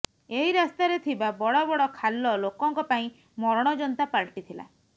ଏହି ରାସ୍ତାରେ ଥିବା ବଡ଼ ବଡ଼ ଖାଲ ଲୋକଙ୍କ ପାଇଁ ମରଣ ଯନ୍ତା ପାଲଟିଥିଲା